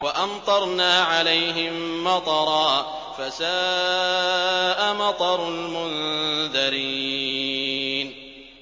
وَأَمْطَرْنَا عَلَيْهِم مَّطَرًا ۖ فَسَاءَ مَطَرُ الْمُنذَرِينَ